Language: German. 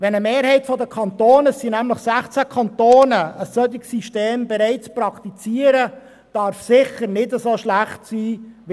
Wenn eine Mehrheit der Kantone – es sind derzeit 16 – ein solches System bereits praktiziert, kann es nicht so schlecht sein.